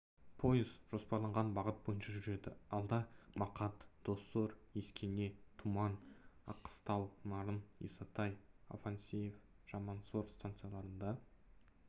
пойыз жоспарланған бағыт бойынша жүреді алда мақат доссор ескене тұман аққыстау нарын исатай афанасьев жамансор станцияларында